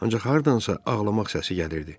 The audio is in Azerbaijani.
Ancaq hardansa ağlamaq səsi gəlirdi.